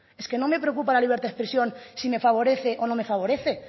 es que no me preocupa la libertad de expresión si me favorece o no me favorece